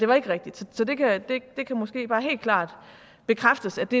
var rigtigt så det kan måske bare helt klart bekræftes at det